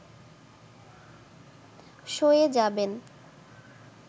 সয়ে যাবেন